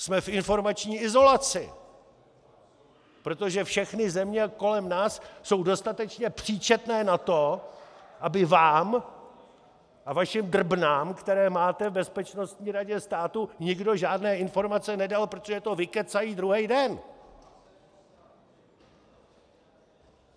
Jsme v informační izolaci, protože všechny země kolem nás jsou dostatečně příčetné na to, aby vám a vašim drbnám, které máte v Bezpečnostní radě státu, nikdo žádné informace nedal, protože to vykecají druhý den.